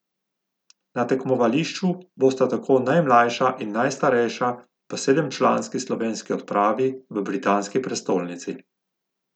Na tekmovališču bosta tako najmlajša in najstarejša v sedemčlanski slovenski odpravi v britanski prestolnici.